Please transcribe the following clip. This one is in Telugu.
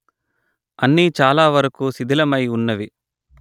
అన్నీ చాల వరకు శిధిలమై ఉన్నవి